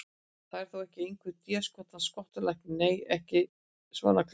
Þú ert þó ekki einhver déskotans skottulæknirinn. nei, ekki svona klæddur.